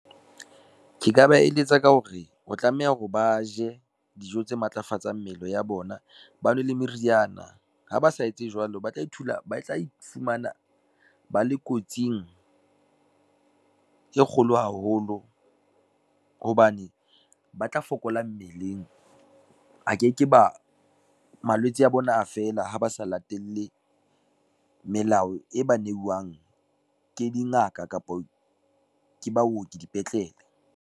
Ke ka ba eletsa ka hore, o tlameha hore ba je dijo tse matlafatsang mmele ya bona, ba nwe le meriana ha ba sa etse jwalo, ba tla ifumana ba le kotsing, e kgolo haholo hobane ba tla fokola mmeleng. A ke ke ba malwetse a bona, a fela ha ba sa latelle melao e ba neuwang ke dingaka kapa ke baoki dipetlele.